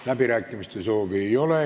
Läbirääkimiste soovi ei ole.